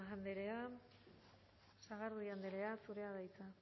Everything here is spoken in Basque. andrea sagardui anderea zurea da hitza